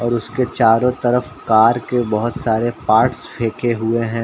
और उसके चारों तरफ कार के बहोत सारे पार्ट्स फेके हुए हैं।